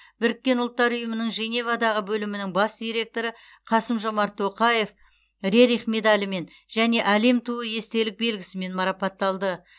біріккен ұлттар ұйымының женевадағы бөлімінің бас директоры қасым жомарт тоқаев рерих медалімен және әлем туы естелік белгісімен марапатталды